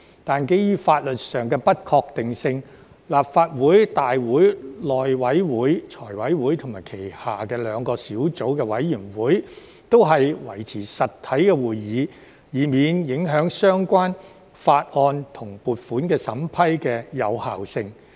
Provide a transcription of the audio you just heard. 但是，基於法律上的不確定性，立法會大會、內務委員會、財委會及其轄下兩個小組委員會均維持實體會議，以免影響相關法案及撥款審批的有效性。